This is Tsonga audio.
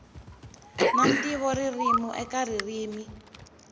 na ntivo ririmi eka ririmi